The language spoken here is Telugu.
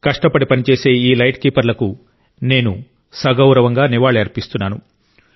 కష్టపడి పనిచేసే ఈ లైట్ కీపర్లకు నేను సగౌరవంగా నివాళి అర్పిస్తున్నాను